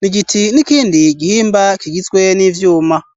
ni giti ,n'ikindi gihimba kigizwe n'ivyuma.